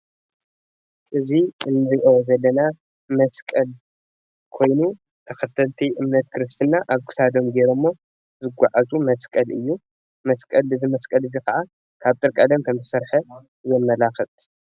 እዚ እንሪኦ ዘለና መስቀል ኮይኑ ተኸተልቲ እምነት ክርስትና ኣብ ክሳዶም ገይረሞ ዝጓዓዙ መስቀል እዩ፡፡ እዚ መስቀል ከዓ ካብ ጥርቀለም ከም ዝተሰርሐ የመላክት፡፡